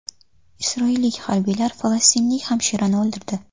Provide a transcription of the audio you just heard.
Isroillik harbiylar falastinlik hamshirani o‘ldirdi.